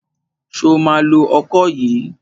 Ṣo ma lo ọkọ yìí?